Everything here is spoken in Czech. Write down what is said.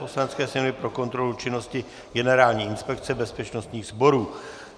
Poslanecké sněmovny pro kontrolu činnosti Generální inspekce bezpečnostních sborů